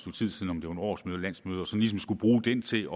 årsmøde landsmøde og ligesom skulle bruge det til